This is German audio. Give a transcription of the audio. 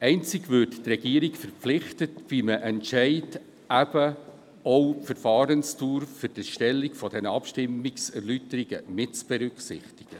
Einzig würde die Regierung verpflichtet, bei einem Entscheid eben auch die Verfahrensdauer für die Erstellung der Abstimmungserläuterungen mitzuberücksichtigen.